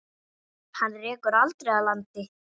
Hana rekur aldrei að landi.